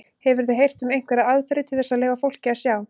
Hefurðu heyrt um einhverjar aðferðir til þess að leyfa fólki að sjá?